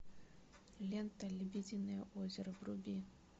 лента лебединое озеро вруби